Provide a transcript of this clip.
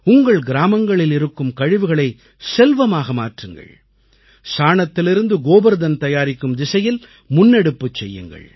உங்கள் கிராமங்களில் இருக்கும் கழிவுகளைச் செல்வமாக மாற்றுங்கள் சாணத்திலிருந்து கோபர்தன் தயாரிக்கும் திசையில் முன்னெடுப்பு செய்யுங்கள்